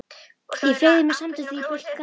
Ég fleygði mér samstundis í blautt grasið.